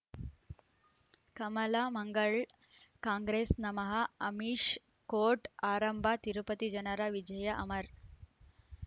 ಕಮಲ್ ಮಂಗಳ್ ಕಾಂಗ್ರೆಸ್ ನಮಃ ಅಮಿಷ್ ಕೋರ್ಟ್ ಆರಂಭ ತಿರುಪತಿ ಜನರ ವಿಜಯ ಅಮರ್